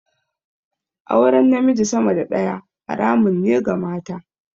Auren namiji sama da daya haramun ne ga mata.